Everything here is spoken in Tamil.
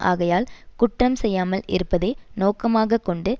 ஆகையால் குற்றம் செய்யாமல் இருப்பதே நோக்கமாக கொண்டு